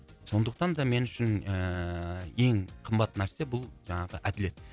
сондықтан да мен үшін ыыы ең қымбат нәрсе бұл жаңағы әділет